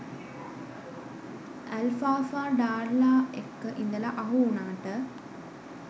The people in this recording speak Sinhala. ඇල්ෆාෆා ඩාර්ලා එක්ක ඉදල අහු උනාට